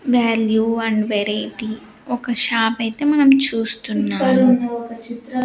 value and variety ఒక shop అయితే మనం చూస్తున్నాము